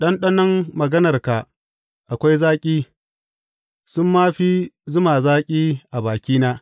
Ɗanɗanon maganarka akwai zaki, sun ma fi zuma zaki a bakina!